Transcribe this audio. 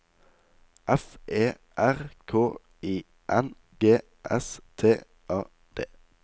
F E R K I N G S T A D